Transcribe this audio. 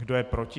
Kdo je proti?